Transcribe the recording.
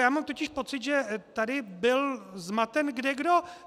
Já mám totiž pocit, že tady byl zmaten kdekdo.